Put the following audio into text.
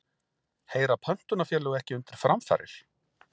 Heyra pöntunarfélög ekki undir framfarir?